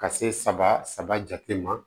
Ka se saba saba jate ma